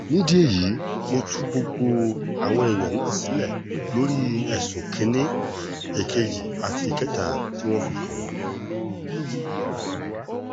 nídìí èyí mo tú gbogbo àwọn èèyàn náà sílẹ̀ lórí ẹ̀sùn kìn-ín-ní èkejì àti ìkẹta tí wọ́n fi kàn wọ́n